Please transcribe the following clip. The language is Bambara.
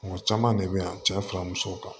Mɔgɔ caman de bɛ yan cɛ fara musow kan